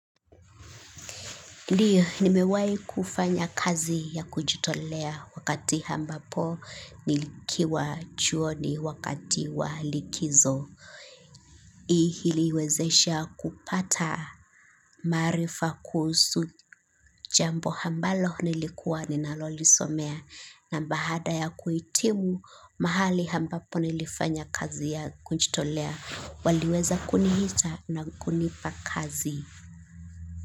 Ndiyo, nimewai kufanya kazi ya kujitolea wakati ambapo nilikiwa chuoni wakati walikizo. Hii iliwezesha kupata maarifa kuhusu jambo ambalo nilikuwa ninalolisomea na baada ya kuhitimu mahali ambapo nilifanya kazi ya kujitolea waliweza kuniita na kunipa kazi.